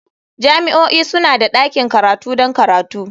Jami'o'i suna da ɗakin karatu don karatu.